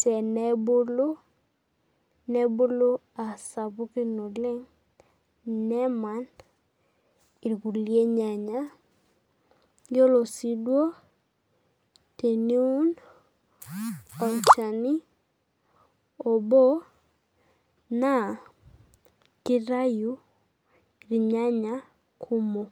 tenebulu nebulu aa sapukin oleng nemany irkulie nyanya yiolo teniun olchani obo na kitau irnyanya kumok.